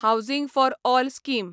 housing for all scheme